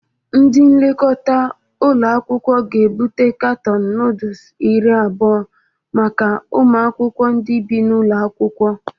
Ndị nlekọta ụlọakwụkwọ ga-ebute katọọnụ nọọdus iri abụọ maka ụmụ akwụkwọ ndị bi n'ụlọ akwụkwọ